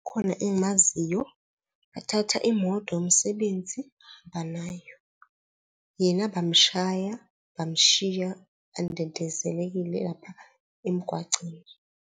Khona engimaziyo, bathatha imoto yomsebenzi bahamba nayo, yena bamshaya, bamshiya andendezelekile lapha emgwaceni.